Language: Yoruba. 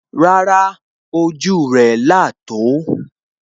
Rárá, ojú rẹ̀ là tò ó